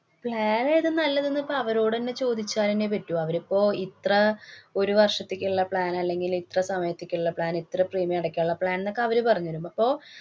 plan ഏതാ നല്ലതെന്ന് പ്പ അവരോട് ന്നെ ചോദിച്ചാനേ പറ്റൂ. അവരിപ്പോ ഇത്ര ഒരു വര്‍ഷത്തേക്കുള്ള plan അല്ലെങ്കില്‍ ഇത്ര സമയത്തേക്കുള്ള plan ഇത്ര premium അടയ്ക്കാനുള്ള plan ന്നൊക്കെ അവര് പറഞ്ഞു തരും. അപ്പൊ